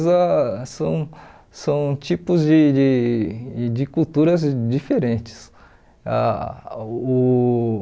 são são tipos de de de culturas diferentes. Ah uh